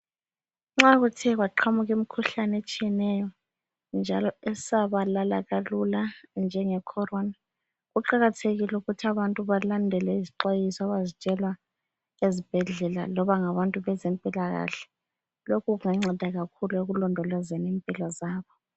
Nxa kuthe kwaqhamuka imkhuhlane etshiyeneyo njalo esabalala kalula njengeCorona. Kuqakathekile ukuthi abantu balandele izixwayiso abazitshelwa ezibhedlela loba ngabantu bezempilakahle. Lokhu kunganceda kakhulu ekulondolozeni impilo zabo.